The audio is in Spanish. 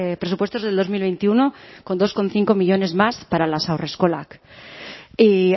presupuestos del dos mil veintiuno con dos coma cinco millónes más para las haurreskolak y